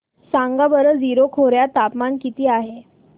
सांगा बरं जीरो खोर्यात तापमान किती आहे